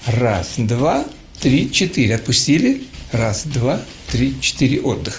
раз два три четыре отпустили раз два три четыре отдых